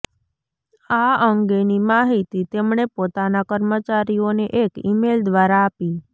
આ અંગેની માહિતી તેમણે પોતાના કર્મચારીઓને એક ઈમેલ દ્વારા આપી